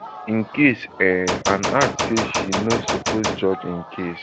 im case um and add say she no suppose judge im case